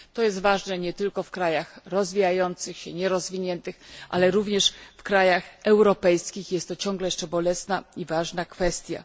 Jest to ważne nie tylko w krajach rozwijających się, nierozwiniętych, ale również w krajach europejskich jest to nadal bolesna i ważna kwestia.